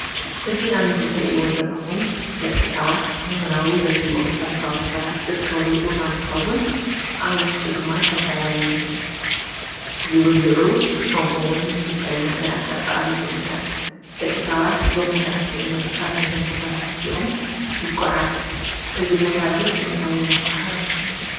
እዚ ኣብ ምስሊ እትሪእዎ ዘለኹም ደቂ ሰባት ንኽነብሩ ዘድልይዎም መሰታዊ ነገራት ዝርከበሉ ቦታ እንትኸውን ኣብ ውሽጡ ድማ ዝተፈላለዩ ዝብልዑ ከምኡ እውን ዝስተዩ ነገራት ኣጠቃሊሉ ይርከብ፡፡ ደቂ ሰባት እዞም ነገራት እዚኦም ንምርካብ እዞም ቦታታት እዚኦም ይጓዓዝ፡፡ እዚ ቦታ እዚ እንታይ ይባሃል?